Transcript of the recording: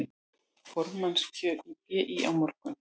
Formannskjör í BÍ á morgun